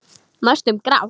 Næstum grátt.